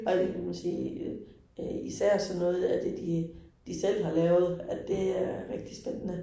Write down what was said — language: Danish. Og det kan man sige, øh især sådan noget af det de de selv har lavet, at det er rigtig spændende